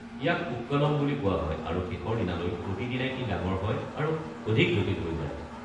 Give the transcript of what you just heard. ইয়াক পোক্কলম বুলি কোৱা হয় আৰু শেষৰ দিনালৈ প্ৰতিদিনে ই ডাঙৰ হয় আৰু অধিক জটিল হৈ যায়।